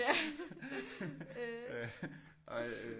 Ja øh